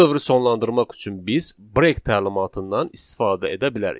Bu dövrü sonlandırmaq üçün biz 'break' təlimatından istifadə edə bilərik.